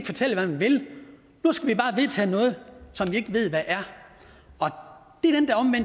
fortælle hvad man vil nu skal vi bare vedtage noget som vi ikke ved hvad er det